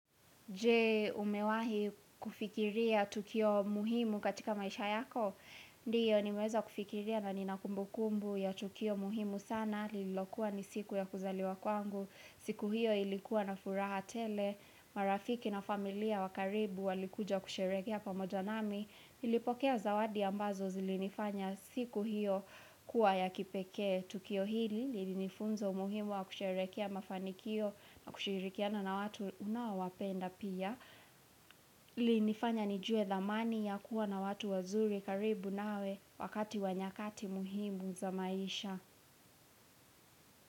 Je umewahi kufikiria tukio muhimu katika maisha yako Ndiyo ni meweza kufikiria na ni nakumbu kumbu ya tukio muhimu sana Lilokuwa ni siku ya kuzaliwa kwangu siku hiyo ilikuwa na furaha tele marafiki na familia wakaribu walikuja kusherehekea pamoja nami nilipokea zawadi ambazo zilinifanya siku hiyo kuwa ya kipeke Tukio hili lilinifunza umuhimu wa kusherehekea mafanikio na kushirikiana na watu unaowapenda pia. Lilinifanya nijue dhamani ya kuwa na watu wazuri karibu nawe wakati wa nyakati muhimu za maisha.